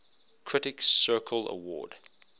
critics circle award